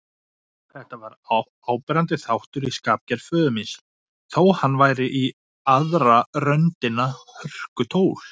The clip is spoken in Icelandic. Þetta var áberandi þáttur í skapgerð föður míns, þó hann væri í aðra röndina hörkutól.